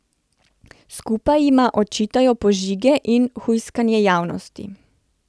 Skupaj jima očitajo požige in hujskanje javnosti.